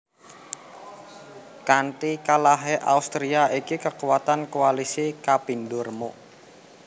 Kanti kalahé Austria iki kekuatan koalisi kapindo remuk